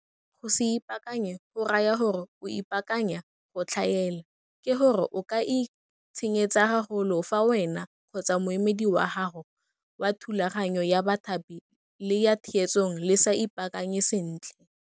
Go se ipaakanye go raya gore o ipaakanya go tlhaela, ke go re o ka itshenyetsa gagolo fa wena kgotsa moemedi wa gago wa thulaganyo ya bathapi le ya theetsong le sa ipaakanye sentle.